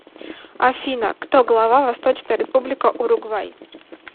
афина кто глава восточная республика уругвай